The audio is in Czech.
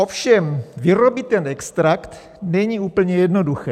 Ovšem vyrobit ten extrakt není úplně jednoduché.